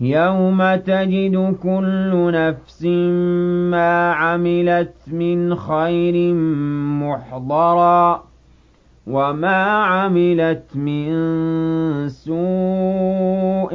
يَوْمَ تَجِدُ كُلُّ نَفْسٍ مَّا عَمِلَتْ مِنْ خَيْرٍ مُّحْضَرًا وَمَا عَمِلَتْ مِن سُوءٍ